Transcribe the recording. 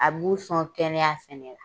A b'u sɔn kɛnɛya fɛnɛ na.